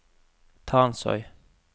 Tansøy